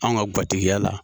Anw ka gatigiya la.